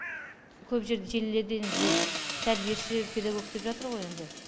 көп жер желілерде енді бұл тәрбиеші педагог деп жатыр ғой енді